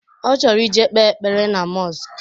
Ọ chọrọ ije kpe ekpere na mọsk